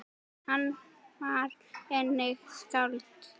Hann var einnig skáld.